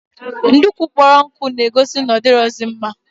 Ndukwu kpọrọ nkụ na-egos na odaghịzi mma